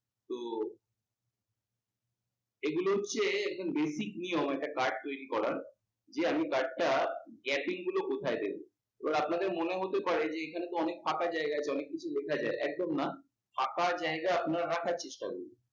এগুলো হচ্ছে একদম basic নিয়ম একটা card তৈরী করার দিয়ে আমি card টার gapping গুলো কোথায় দেব। এবার আপনাদের মনে হতে পারে যে এখানে তো অনেক ফাঁকা জায়গা অনেক কিছু লেখা যায়, একদম না ফাঁকা জায়গা আপনারা রাখার চেষ্টা করুন।